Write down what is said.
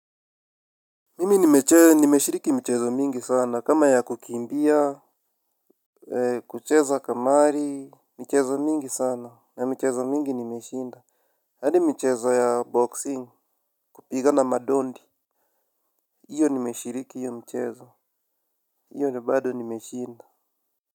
Mimi nimeshiriki mchezo mingi sana kama ya kukiimbia. Kucheza kamari. Michezo mingi sana na michezo mingi nimeshinda. Hadi mchezo ya boxing kupigana madondi. Iyo nimeshiriki iyo mchezo. Iyo nabado nimeshinda.